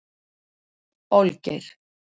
Olgeir